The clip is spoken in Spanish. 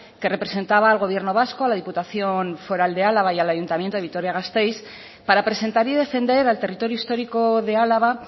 que representaba al gobierno vasco a la diputación foral de álava y el ayuntamiento de vitoria gasteiz para presentar y defender al territorio histórico de álava